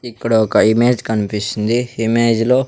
ఇక్కడ ఒక ఇమేజ్ కనిపిస్తుంది ఇమేజ్ లో .